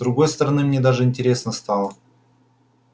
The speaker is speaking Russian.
с другой стороны мне даже интересно стало